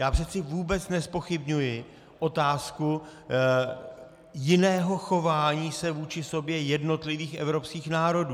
Já přece vůbec nezpochybňuji otázku jiného chování se vůči sobě jednotlivých evropských národů.